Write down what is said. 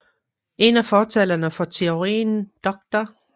En af fortalerne for teorien dr